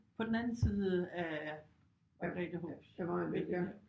På den anden side af Margrethehåbsvænget der